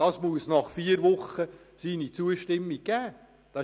Es muss nach vier Wochen seine Zustimmung geben;